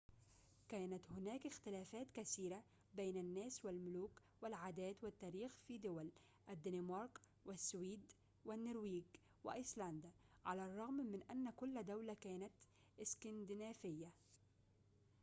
كانت هناك اختلافات كثيرة بين الناس والملوك والعادات والتاريخ في دول الدنمارك و"السويد و"النرويج و"أيسلندا"،على الرغم من أن كل دولة كانت إسكندنافية